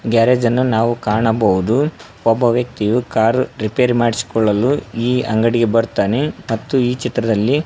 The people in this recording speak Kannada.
ಗ್ಯಾರೇಜ್ ಅನ್ನ ನಾವು ಕಾಣಬಹುದು ಒಬ್ಬ ವ್ಯಕ್ತಿಯು ಕಾರ್ ರಿಪೇರಿ ಮಾಡಿಸಿಕೊಳ್ಳಲು ಈ ಅಂಗಡಿಗೆ ಬರ್ತಾನೆ ಮತ್ತು ಈ ಚಿತ್ರದಲ್ಲಿ --